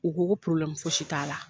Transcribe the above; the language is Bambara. U ko ko porobilɛmu foyi si t'a la